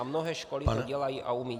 A mnohé školy to dělají a umějí.